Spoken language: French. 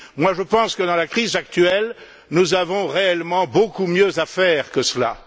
Je pense que, dans la crise actuelle, nous avons réellement beaucoup mieux à faire que cela.